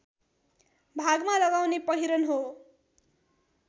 भागमा लगाउने पहिरन हो